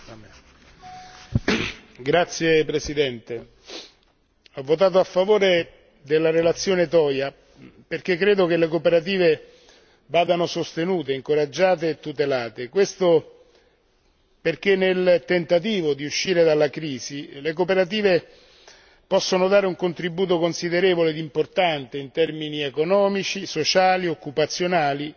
Signor Presidente, onorevoli colleghi, ho votato a favore della relazione dell'onorevole Toia perché credo che le cooperative vadano sostenute, incoraggiate e tutelate. Questo perché nel tentativo di uscire dalla crisi, le cooperative possono dare un contributo considerevole ed importante in termini economici, sociali, occupazionali